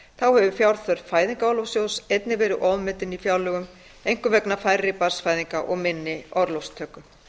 þá hefur fjárþörf fæðingarorlofssjóðs einnig verið ofmetin í fjárlögum einkum vegna færri barnsfæðinga og minni orlofstöku